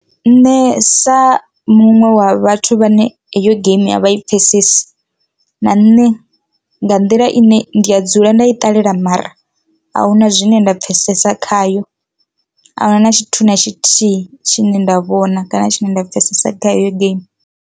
Nṋe sa muṅwe wa vhathu vhane heyo geimi ya vha i pfhesesi na nṋe nga nḓila ine ndi a dzula nda i ṱalela mara ahuna zwine nda pfhesesa khayo ahuna na tshithu na tshithihi tshine nda vhona kana tshine nda pfesesa khayo heyo geimi.